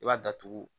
I b'a datugu